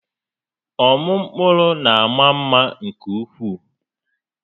Ọmụ mkpụrụ na àmà mma nke ukwuu.